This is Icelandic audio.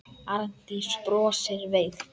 Arndís brosir veikt.